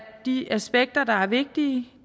de aspekter der er vigtige